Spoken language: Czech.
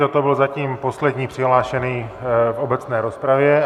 Toto byl zatím poslední přihlášený v obecné rozpravě.